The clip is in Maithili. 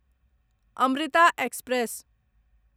अमृता एक्सप्रेस